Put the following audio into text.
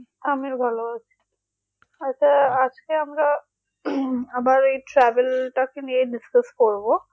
আমি ভালো আছি, হয়তো আজকে আমরা আবার travel টাকে নিয়ে discuss করবো